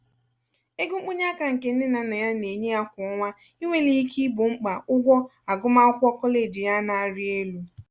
ego mkpọnyeaka nke nne na nna ya na-enye ya kwà ọnwa inwelighi ike igbo mkpa ụgwọ agụmakwụkwọ koleji ya na-arị elu.